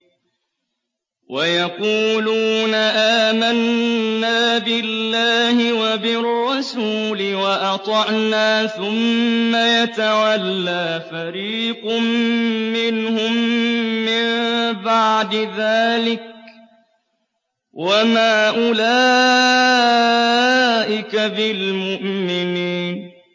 وَيَقُولُونَ آمَنَّا بِاللَّهِ وَبِالرَّسُولِ وَأَطَعْنَا ثُمَّ يَتَوَلَّىٰ فَرِيقٌ مِّنْهُم مِّن بَعْدِ ذَٰلِكَ ۚ وَمَا أُولَٰئِكَ بِالْمُؤْمِنِينَ